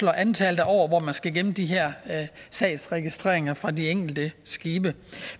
antallet af år hvor man skal gemme de her sagsregistreringer fra de enkelte skibe